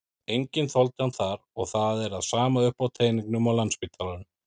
Enginn þoldi hann þar og það er sama uppi á teningnum á Landspítalanum.